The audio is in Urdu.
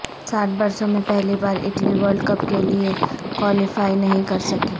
ساٹھ برسوں میں پہلی بار اٹلی ورلڈ کپ کےلئے کوالیفائی نہیں کرسکی